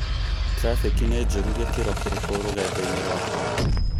trafiki ni njũũru gĩkĩro kĩrĩkũ rũgendo-inĩ rwakwa?